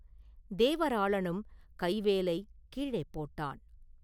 தேவராளனும் கைவேலைக் கீழே போட்டான்.